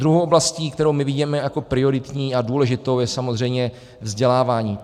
Druhou oblastí, kterou my vidíme jako prioritní a důležitou, je samozřejmě vzdělávání.